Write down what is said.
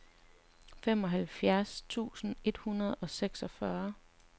femoghalvfjerds tusind et hundrede og seksogfyrre